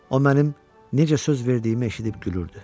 O mənim necə söz verdiyimi eşidib gülürdü.